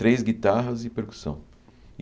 Três guitarras e percussão.